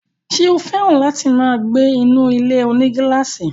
Ṣé ó fẹ́ràn láti máa gbé inú ilé-onígílàsì?